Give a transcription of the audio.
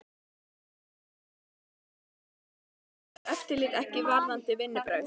Helga: Sleppum mannskapnum. brást eftirlitið ekki líka varðandi vinnubrögð?